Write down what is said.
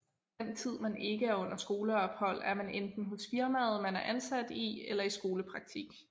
Den tid man ikke er under skoleophold er man enten hos firmaet man er ansat i eller i skolepraktik